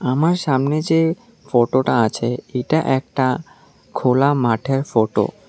আমার সামনে যে ফটোটা আছে এইটা একটা খোলা মাঠের ফটো ।